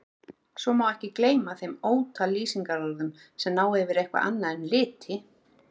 Svo má ekki gleyma þeim ótal lýsingarorðum sem ná yfir eitthvað annað en liti.